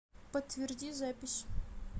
подтверди запись